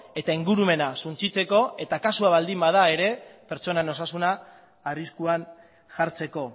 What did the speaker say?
eta ingurumena suntsitzeko eta kasua baldin bada ere pertsonan osasuna arriskuan jartzeko